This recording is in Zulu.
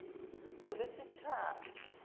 ngolwesithathu